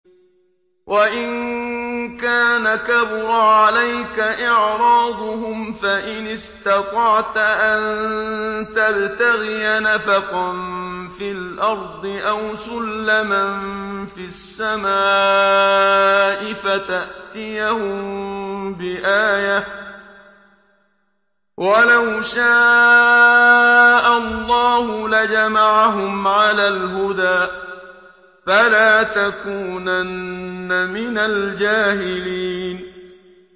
وَإِن كَانَ كَبُرَ عَلَيْكَ إِعْرَاضُهُمْ فَإِنِ اسْتَطَعْتَ أَن تَبْتَغِيَ نَفَقًا فِي الْأَرْضِ أَوْ سُلَّمًا فِي السَّمَاءِ فَتَأْتِيَهُم بِآيَةٍ ۚ وَلَوْ شَاءَ اللَّهُ لَجَمَعَهُمْ عَلَى الْهُدَىٰ ۚ فَلَا تَكُونَنَّ مِنَ الْجَاهِلِينَ